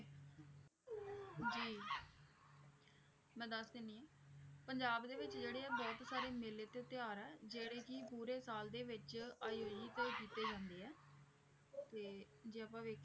ਜੀ ਮੈਂ ਦੱਸ ਦਿੰਦੀ ਹਾਂ ਪੰਜਾਬ ਦੇ ਵਿੱਚ ਜਿਹੜੇ ਆ ਬਹੁਤ ਸਾਰੇ ਮੇਲੇ ਤੇ ਤਿਉਹਾਰ ਹੈ ਜਿਹੜੇ ਕਿ ਪੂਰੇ ਸਾਲ ਦੇ ਵਿੱਚ ਆਯੋਜਿਤ ਕੀਤੇ ਜਾਂਦੇ ਹੈ ਤੇ ਜੇ ਆਪਾਂ ਵੇਖੀਏ।